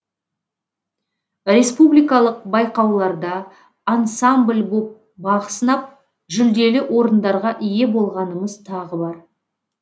республикалық байқауларда ансамбль боп бақ сынап жүлделі орындарға ие болғанымыз тағы бар